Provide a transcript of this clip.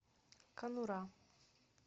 конура